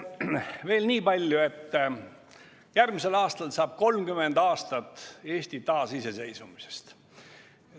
Veel niipalju, et järgmisel aastal saab 30 aastat Eesti taasiseseisvumisest.